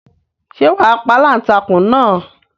Ṣé wà á pa aláǹtakùn náà?